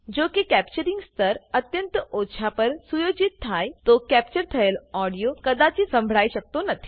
જોકે કેપ્ચરીંગ સ્તર અત્યંત ઓછા પર સુયોજિત થાયતો કેપ્ચર થયેલ ઓડીઓ કદાચિત સંભળાઈ શકતો નથી